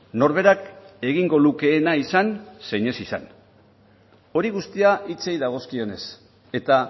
norberak egingo lukeena izan zein ez izan hori guztia hitzei dagozkionez eta